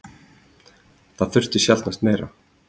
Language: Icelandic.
Það þurfti sjaldnast meira.